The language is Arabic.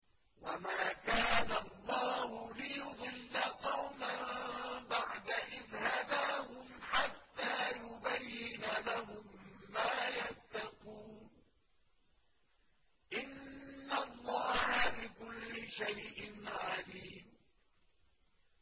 وَمَا كَانَ اللَّهُ لِيُضِلَّ قَوْمًا بَعْدَ إِذْ هَدَاهُمْ حَتَّىٰ يُبَيِّنَ لَهُم مَّا يَتَّقُونَ ۚ إِنَّ اللَّهَ بِكُلِّ شَيْءٍ عَلِيمٌ